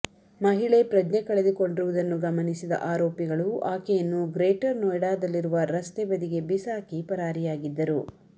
ಮಹಿಳೆ ಪ್ರಜ್ಞೆ ಕಳೆದುಕೊಂಡಿರುವುದನ್ನು ಗಮನಿಸಿದ ಆರೋಪಿಗಳು ಆಕೆಯನ್ನು ಗ್ರೇಟರ್ ನೊಯ್ಡಾದಲ್ಲಿರುವ ರಸ್ತೆ ಬದಿಗೆ ಬಿಸಾಕಿ ಪರಾರಿಯಾಗಿದ್ದರು